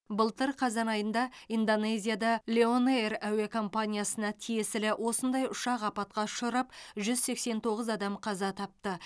былтыр қазан айында индонезияда лион эйр әуе компаниясына тиесілі осындай ұшақ апатқа ұшырап жүз сексен тоғыз адам қаза тапты